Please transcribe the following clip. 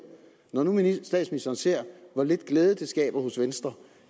når nu statsministeren ser hvor lidt glæde det skaber hos venstre